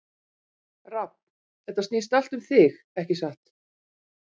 Rafn, þetta snýst allt um þig, ekki satt?